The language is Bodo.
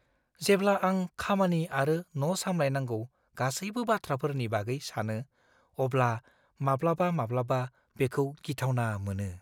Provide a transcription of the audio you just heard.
जेब्ला आं खामानि आरो न' सामलायनांगौ गासैबो बाथ्राफोरनि बागै सानो, अब्ला माब्लाबामाब्लाबा बेखौ गिथावना मोनो।